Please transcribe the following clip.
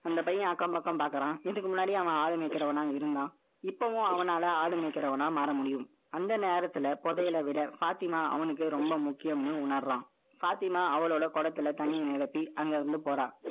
அந்த பையன், அக்கம் பக்கம் பார்க்கிறான். இதுக்கு முன்னாடி, அவன் ஆள் மேய்க்கிறவனா இருந்தான் இப்பவும் அவனால ஆடு மேய்க்கிறவனா மாறமுடியும். அந்த நேரத்துல புதையல விட ஃபாத்திமா அவனுக்கு ரொம்ப முக்கியம்னு உணர்றான். பாத்திமா அவளோட குடத்துல தண்ணிய நிரப்பி, அங்க இருந்து போறா